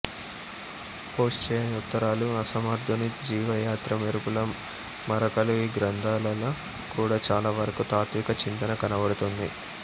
post చెయ్యని ఉత్తరాలు అసమర్ధుని జీవయాత్ర మెరుపుల మరకలు ఈ గ్రంథాలలో కూడా చాలావరకు తాత్విక చింతన కనపడుతుంది